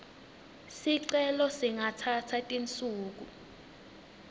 sicelo ingatsatsa tinsuku